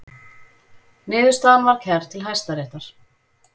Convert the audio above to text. Niðurstaðan var kærð til Hæstaréttar